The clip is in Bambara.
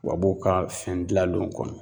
Wabuw ka fɛn dilalenw kɔnɔ